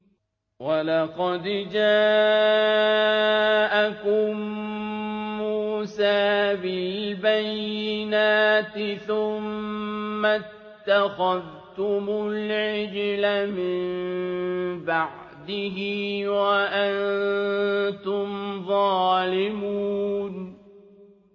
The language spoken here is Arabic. ۞ وَلَقَدْ جَاءَكُم مُّوسَىٰ بِالْبَيِّنَاتِ ثُمَّ اتَّخَذْتُمُ الْعِجْلَ مِن بَعْدِهِ وَأَنتُمْ ظَالِمُونَ